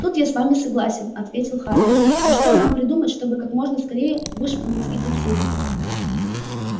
тут я с вами согласен ответил хардин но что нам придумать чтобы как можно скорее вышвырнуть их отсюда